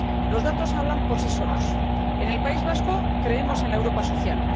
Los datos hablan por sí solos en el País Vasco creemos en la Europa social.